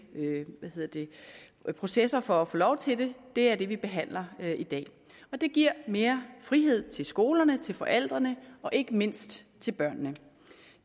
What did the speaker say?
processer for at få lov til det er det vi behandler i dag det giver mere frihed til skolerne til forældrene og ikke mindst til børnene